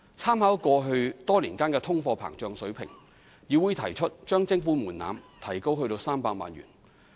參考過去多年的通貨膨脹水平，議會提出將徵款門檻提高至300萬元。